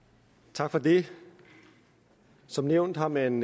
tak for det som nævnt har man